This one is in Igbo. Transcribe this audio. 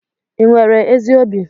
Ị nwere ezi obi?